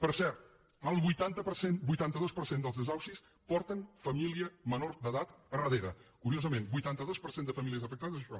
per cert el vuitanta dos per cent dels desnonaments porten família menor d’edat al darrere curiosament vuitanta dos per cent de famílies afectades això